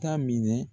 Ta minɛ